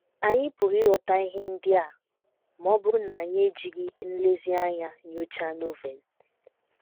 Anyị pụrụ ịghọta ihe ndị a ma ọ bụrụ na anyị ejiri nlezianya nyochaa Novel.